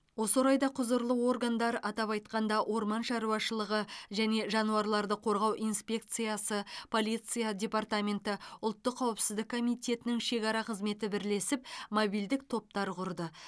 осы орайда құзырлы органдар атап айтқанда орман шаруашылығы және жануарларды қорғау инспекциясы полиция департаменті ұлттық қауіпсіздік комитетінің шекара қызметі бірлесіп мобильдік топтар құрды